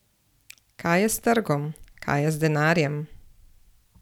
Kaj je s trgom, kaj je z denarjem?